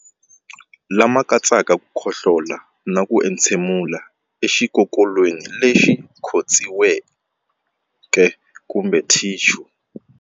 Lama katsaka ku khohlola na ku entshemulela exikokolweni lexi khotsiweke kumbe thixu.